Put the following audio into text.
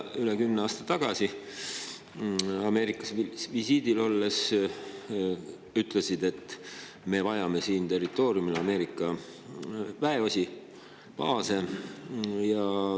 Üle kümne aasta tagasi kaitseministrina Ameerikas visiidil olles sa ütlesid, et me vajame siin territooriumil Ameerika väeosi, baase.